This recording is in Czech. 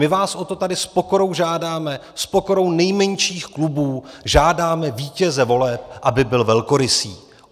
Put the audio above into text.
My vás o to tady s pokorou žádáme, s pokorou nejmenších klubů žádáme vítěze voleb, aby byl velkorysý.